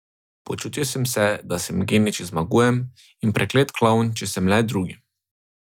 Počutil sem se, da sem genij, če zmagujem, in preklet klovn, če sem le drugi.